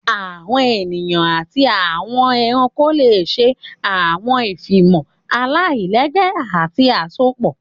Àwọn eniyan ati awọn ẹranko le ṣe awọn ifunmọ alailẹgbẹ ati awọn asopọ.